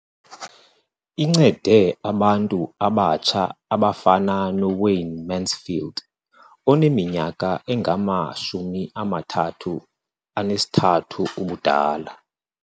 Incede abantu abatsha abafana noWayne Mansfield oneminyaka engama-33 ubudala.